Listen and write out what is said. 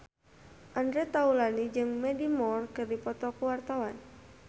Andre Taulany jeung Mandy Moore keur dipoto ku wartawan